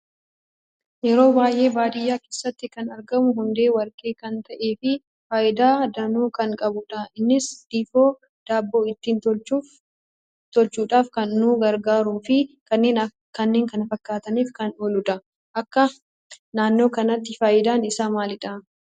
Yeroo baay'ee baadiyyaa keessatti kan argamu hundee warqee kan ta'ee fi faayidaa danuu kan qabudha. innis difoo daabboo ittin tolchuudhaf kan nu gargaaruu fi kanneen kan fakkatanif kan ooluudha. Akka naannoo keessanitti faayidaan isa maaliidha?